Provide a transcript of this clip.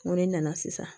N ko ne nana sisan